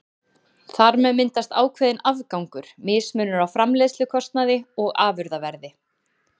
Þar með myndast ákveðinn afgangur, mismunur á framleiðslukostnaði og afurðaverði.